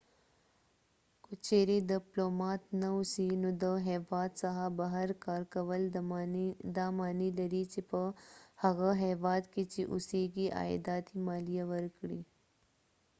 که چیرې دپلومات نه اوسې نو د هیواد څخه بهر کارکول دا معنی لري چې په هغه هیواد کې چې اوسیږي عایداتي مالیه ورکړې